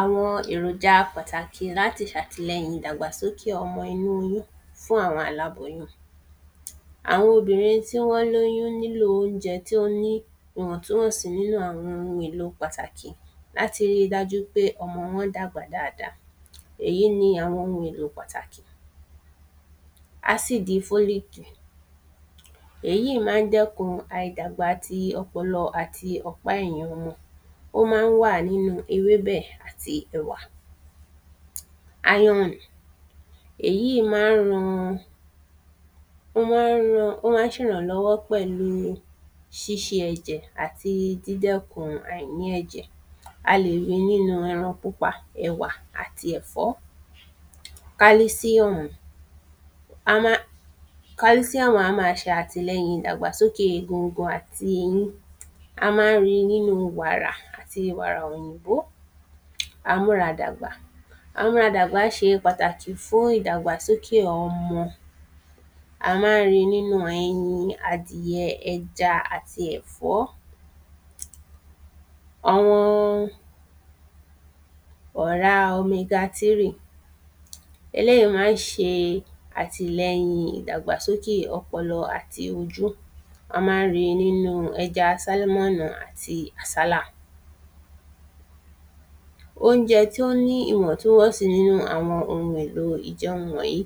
Àwọn èròja pàtàkì láti ṣàtìlẹyìn ìdàgbàsókè ọmọ inú oyún fún àwọn aláboyún Àwọn obìnrin tí wọn lóyún nílò óunjẹ tí ó ni ìwọ̀ntúnwọ̀nsí́ nínú àwọn ohun èlo pàtàkì láti rí dájú pé ọmọ wọn dàgbà dada èyí ni àwọn ohun èlò pàtàkì ásìdì fólík èyí má ń dẹ́kun aìdàgbà ti ọpọlọ àti ọ̀pá ẹ̀yìn wọn ó má ń wà nínu ewébẹ̀ àti ẹ̀wà áyọ̀nù èyí má ń ran ó má ń ṣerànlọ́wọ́ pẹ̀lú ṣíṣe ẹ̀jẹ̀ àti dídẹ́kun àìní ẹ̀jẹ̀ a lè ri nínú ẹran pupa, ẹ̀wà àti ẹ̀fọ́ kálísíùmù kálísíùmù á ma ṣe àtìlẹyìn ìdàgbàsókè oogun àti eyín a má ń ri nínu warà àti wàrà òyìnbó amúradàgbà amúradàgbà ṣe pàtàkì fún ìdàgbàsókè ọmọ a má ń ri nínu ẹyin, adìyẹ, ẹja àti ẹ̀fọ́ àwọn ọ̀rá omega tírì eléyí má ń ṣe àtìlẹyìn ìdàgbàsókè ọpọlọ àti ojú a má ń ri nínu ẹja sálímọ́nì àti àsálà óunjẹ tí ó ní ìwọ̀túnwọ̀nsí nínú àwọn ohun èlo ìjẹun wọ̀nyí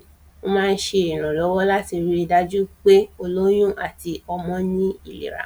ó má ń ṣe ìrànlọ́wọ́ láti ri dájú pé olóyún àti ọmọ ní ìera